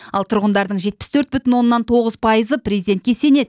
ал тұрғындардың жетпіс төрт бүтін оннан тоғыз пайызы президентке сенеді